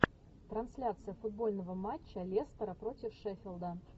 трансляция футбольного матча лестера против шеффилда